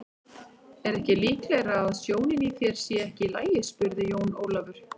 Er ekki líklegara að sjónin í þér sé ekki í lagi spurði Jón Ólafur.